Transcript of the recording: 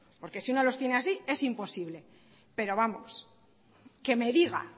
porque si uno los tiene así es imposible pero vamos que me diga